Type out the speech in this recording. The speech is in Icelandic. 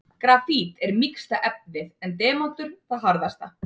Grafít er mýksta efnið en demantur það harðasta.